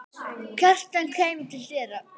Kjartan kæmi til dyra.